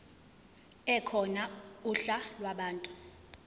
ekhona uhla lwabantu